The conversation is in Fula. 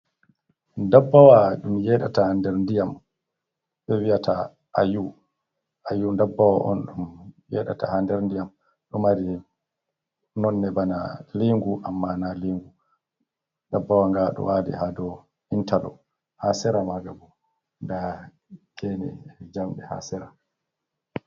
Dabbawa ɗum yedata ha nder diyam be vi'ata aayu dabbawa on ɗum yedata ha nder ndiyam ɗo mari nonne bana lingu amma na lingu dabbawa nga dowali hado intaloks ha sera ma nga bo nda gene e jamde ha sira.